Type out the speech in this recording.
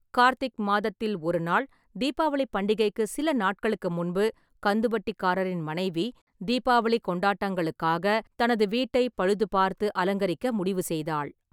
கார்த்திக் மாதத்தில் ஒரு நாள், தீபாவளி பண்டிகைக்கு சில நாட்களுக்கு முன்பு, கந்துவட்டிக்காரரின் மனைவி தீபாவளி கொண்டாட்டங்களுக்காக தனது வீட்டைப் பழுதுபார்த்து அலங்கரிக்க முடிவு செய்தாள்.